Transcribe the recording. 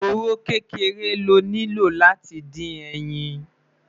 òróró kékeré ló nilo láti dín ẹyìn